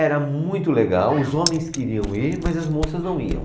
Era muito legal, os homens queriam ir, mas as moças não iam.